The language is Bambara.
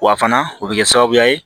Wa fana o bɛ kɛ sababu ye